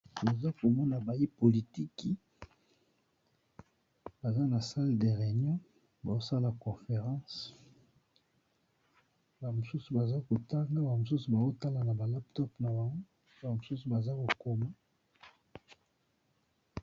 Toza komona batu ya politiki baza na sale de réunion bazosala conference ba mosusu baza kotanga ba mosusu bazotala na ba laptop na ba ba mosusu baza kokoma.